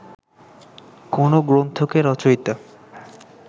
কোনো গ্রন্থকে রচয়িতা